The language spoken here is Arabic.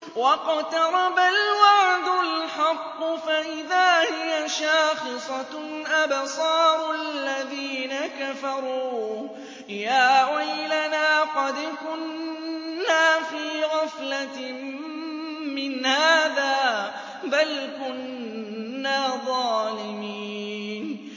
وَاقْتَرَبَ الْوَعْدُ الْحَقُّ فَإِذَا هِيَ شَاخِصَةٌ أَبْصَارُ الَّذِينَ كَفَرُوا يَا وَيْلَنَا قَدْ كُنَّا فِي غَفْلَةٍ مِّنْ هَٰذَا بَلْ كُنَّا ظَالِمِينَ